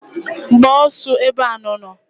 Gbaa osu ebe anu nu!